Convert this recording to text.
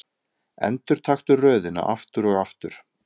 Endurtaktu röðina aftur og aftur.